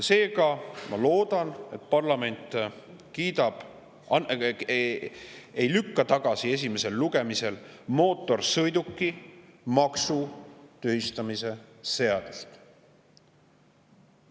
Seega ma loodan, et parlament ei lükka mootorsõidukimaksu tühistamise seaduse esimesel lugemisel tagasi.